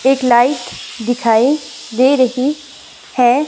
एक लाइट दिखाई दे रही है।